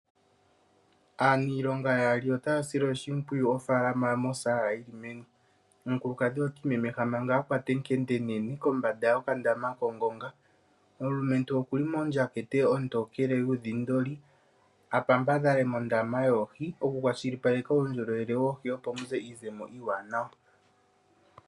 Aaniilonga yaali otaya sile oshimpwiyu ofaalama mosaala yiimeno. Omukulukadhi ota imemeha manga a kwata ekende enene kombanda yokandama kongonga. Omulumentu oku li mondjatha ontokele yuudhindoli a pampadhale mondaama yoohi okukwashilipaleka uundjolowele woohi, opo mu ze iizemo iiwanwa.